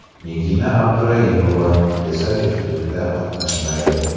Nigina Abduraimova esa juftlikda qatnashmaydi.